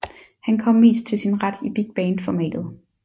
Han kom mest til sin ret i big band formatet